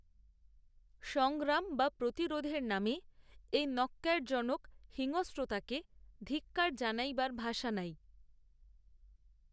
সংগ্রাম বা প্রতিরোধের নামে, এই, ন্যক্কারজনক হিংস্রতাকে, ধিক্কার জানাইবার ভাষা নাই